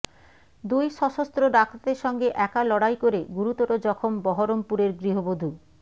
দুই সশস্ত্র ডাকাতের সঙ্গে একা লড়াই করে গুরুতর জখম বহরমপুরের গৃহবধূ